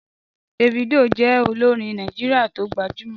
Davido jẹ olorin Naijiria ti o gbajumọ.